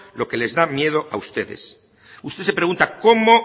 lo que les da miedo a ustedes usted se pregunta cómo